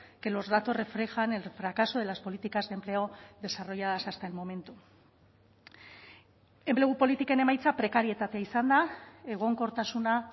que los datos reflejan el fracaso de las políticas de empleo desarrolladas hasta el momento enplegu politiken emaitza prekarietatea izan da egonkortasuna